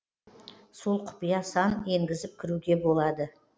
сол құпия сан енгізіп кіруге болады